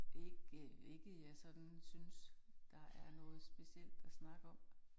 Ikke, ikke jeg sådan synes, der er noget specielt at snakke om